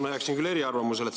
Ma jääksin küll eriarvamusele.